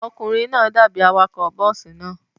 Ọkùnrin náà dàbí awakọ̀ bọ́ọ́sì náà.